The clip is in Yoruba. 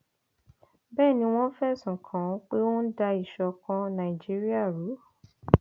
bẹẹ ni wọn fẹsùn kàn án pé ó ń da ìṣọkan nàìjíríà rú